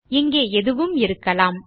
இங்கே எதுவும் இருக்கலாம்